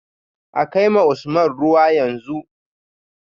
A kai ma Usman ruwa yanzu